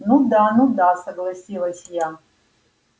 ну да ну да согласилась я